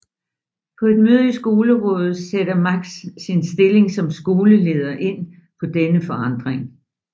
På et møde i Skolerådet sætter Max sin stilling som skoleleder ind på denne forandring